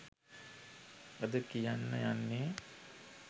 අද කියන්න යන්නෙ